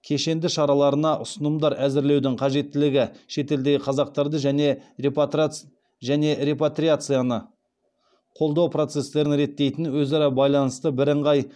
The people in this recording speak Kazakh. кешенді шараларына ұсынымдар әзірлеудің қажеттілігі шетелдегі қазақтарды және репатриацияны қолдау процестерін реттейтін өзара байланысты бірыңғай